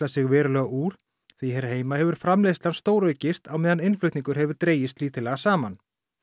sig verulega úr því hér heima hefur framleiðslan stóraukist á meðan innflutningur hefur dregist lítillega saman